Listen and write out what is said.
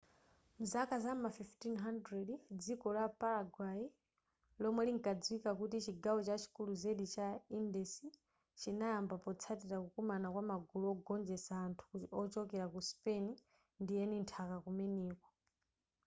nzaka za ma 1500 dziko la paraguay lomwe linkadziwika kuti chigawo chachikulu zedi cha indies chinayamba potsatila kukumana kwa magulu ogonjetsa anthu ochokela ku spain ndi eni nthaka kumeneko